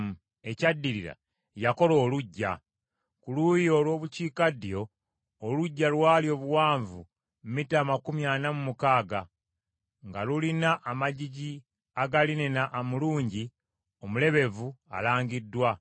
Ekyaddirira, yakola oluggya. Ku luuyi olw’obukiikaddyo, oluggya lwali obuwanvu mita amakumi ana mu mukaaga, nga lulina amagigi aga linena omulungi omulebevu alangiddwa,